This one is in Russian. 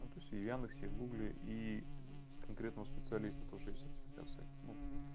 ну то есть и в яндексе и в гугле и с конкретного специалист потому что есть сертификация ну